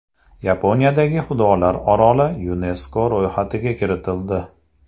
Yaponiyadagi xudolar oroli YuNESKO ro‘yxatiga kiritildi.